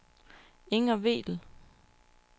Inger Vedel